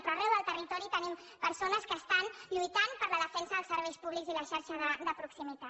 però arreu del territori tenim persones que estan lluitant per la defen·sa dels serveis públics i la xarxa de proximitat